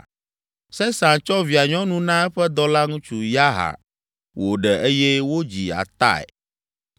Sesan tsɔ via nyɔnu na eƒe dɔlaŋutsu, Yarha, wòɖe eye wodzi Atai.